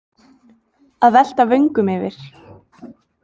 Að velta vöngum yfir